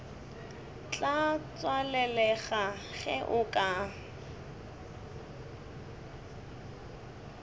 tla tswalelega ge o ka